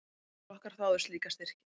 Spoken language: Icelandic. Fjórir flokkar þáðu slíka styrki.